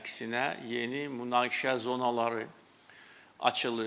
Əksinə yeni münaqişə zonaları açılır.